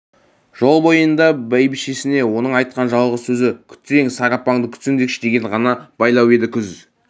жол бойында бәйбішесіне оның айтқан жалғыз сөзі күтсең сары апаңды күтсеңдерші деген ғана байлау еді күз